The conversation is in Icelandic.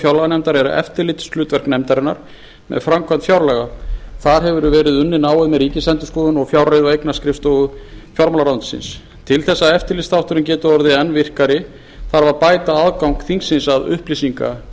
fjárlaganefndar er eftirlitshlutverk nefndarinnar með framkvæmd fjárlaga þar hefur verið unnið náið með ríkisendurskoðun og fjárreiðu og eignaskrifstofu fjármálaráðuneytisins til þess að eftirlitsþátturinn geti orðið enn virkari þarf að bæta aðgang þingsins að